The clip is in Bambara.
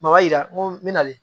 yira ŋo n be nalen